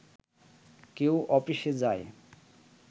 কেউ অফিসে যায়